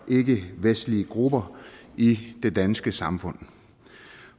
ikkevestlige grupper i det danske samfund